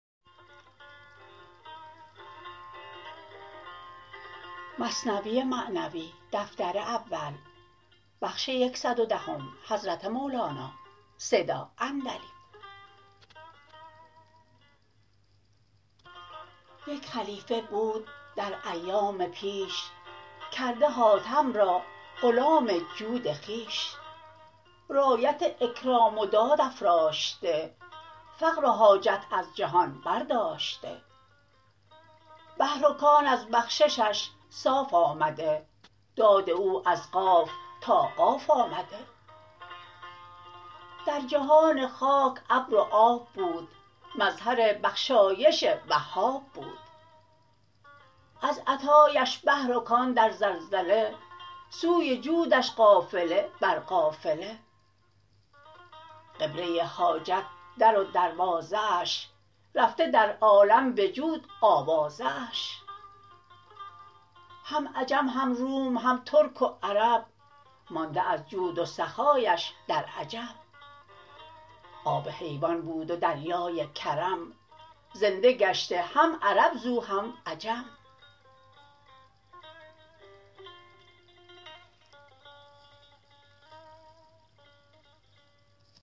یک خلیفه بود در ایام پیش کرده حاتم را غلام جود خویش رایت اکرام و داد افراشته فقر و حاجت از جهان بر داشته بحر و در از بخششش صاف آمده داد او از قاف تا قاف آمده در جهان خاک ابر و آب بود مظهر بخشایش وهاب بود از عطااش بحر و کان در زلزله سوی جودش قافله بر قافله قبله حاجت در و دروازه اش رفته در عالم بجود آوازه اش هم عجم هم روم هم ترک و عرب مانده از جود و سخااش در عجب آب حیوان بود و دریای کرم زنده گشته هم عرب زو هم عجم